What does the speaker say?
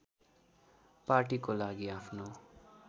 पार्टीको लागि आफ्नो